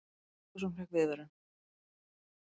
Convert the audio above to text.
Ferguson fékk viðvörun